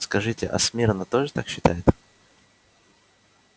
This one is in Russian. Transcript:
скажите а смирно тоже так считает